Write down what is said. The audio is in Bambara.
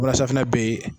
Walasafinɛ bɛ